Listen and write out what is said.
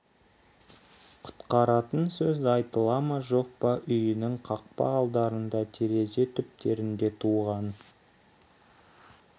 құтқаратын сөз айтыла ма жоқ па үйінің қақпа алдарында терезе түптерінде туған